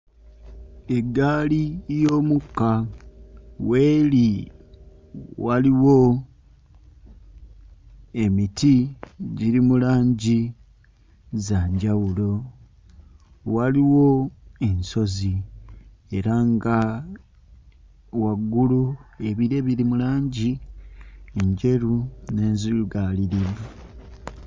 Eggaali y'omukka w'eri waliwo emiti giri mu langi za njawulo. Waliwo ensozi era nga waggulu ebire biri mu langi Enjeru n'enzirugaalirivu.